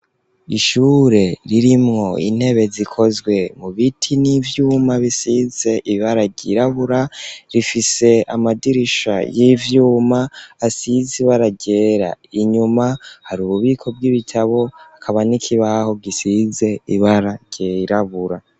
Ishure ririmwo intebe zikozwe mu biti n'ivyuma bisize ibara ryirabura rifise amadirisha y'ivyuma asize ibara ryera inyuma hari ububiko bw'ibitabo akaba n'ikibaho gisize ibara ryirabura.